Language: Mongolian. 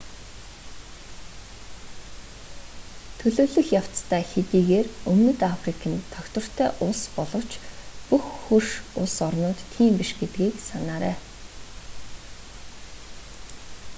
төлөвлөх явцдаа хэдийгээр өмнөд африк нь тогтвортой улс боловч бүх хөрш улс орнууд тийм биш гэдгийг санаарай